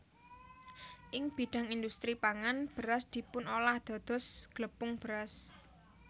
Ing bidhang indhustri pangan beras dipunolah dados glepung beras